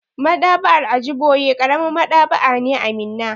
Maɗ'aba'ar Ajiboye ƙaramin Maɗ'aba'a ne a Minna.